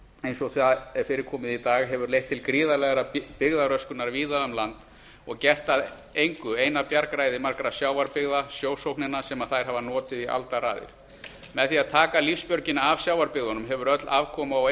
eins og því er fyrirkomið í dag hefur leitt til gríðarlegrar byggðaröskunar víða um land og gert að engu eina bjargræði sjávarbyggða sjósóknina sem þær hafa notið í aldaraðir með því að taka lífsbjörgina af sjávarbyggðunum hefur öll afkoma og